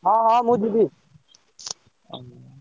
ହଁ ହଁ ମୁଁ ଯିବି।